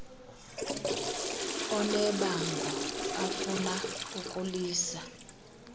onebango afuna ukulisa